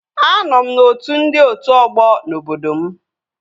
Anọ m n'otu ndị otu ọgbọ n'obodo m